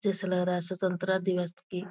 जैसे लग रहा है स्वतंत्रता दिवस की --